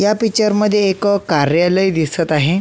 या पिक्चर मध्ये एक कार्यालय दिसत आहे.